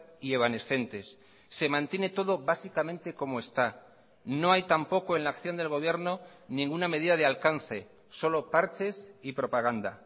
y evanescentes se mantiene todo básicamente como está no hay tampoco en la acción del gobierno ninguna medida de alcance solo parches y propaganda